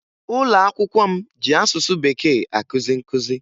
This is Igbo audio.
Ụlọakwụkwọ m ji asụsụ Bekee akụzi nkụzi